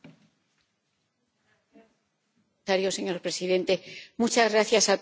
Señor presidente, muchas gracias a todos los que han intervenido.